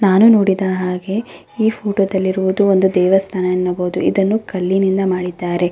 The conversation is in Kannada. ನಾನು ನೋಡಿದ ಹಾಗೆ ಈ ಫೋಟೋ ದಲ್ಲಿರುವುದು ಒಂದು ದೇವಸ್ಥಾನ ಅನ್ನಬಹುದು. ಇದನ್ನು ಕಲ್ಲಿನಿಂದ ಮಾಡಿದ್ದಾರೆ.